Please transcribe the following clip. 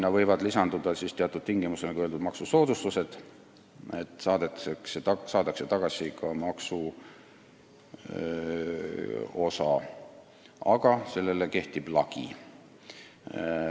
Nagu öeldud, võivad teatud tingimustel lisanduda maksusoodustused, st maksuosa saadakse tagasi, aga sellele kehtib lagi.